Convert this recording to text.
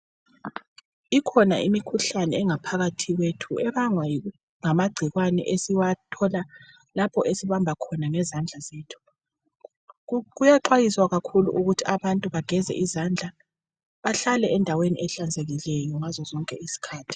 Ikhona imikhuhlane engaphakathi kwethu ebangwa ngamagcikwane esiwathola lapho esibamba khona ngezandla zethu. Kuyaxwayiswa kakhulu ukuthi abantu bageze izandla bahlale endaweni ehlanzekile ngazo zonke izikhathi